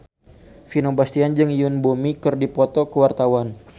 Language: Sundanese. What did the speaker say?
Vino Bastian jeung Yoon Bomi keur dipoto ku wartawan